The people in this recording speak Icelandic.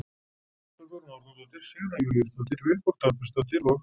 Olga Guðrún Árnadóttir, Sigrún Júlíusdóttir, Vilborg Dagbjartsdóttir og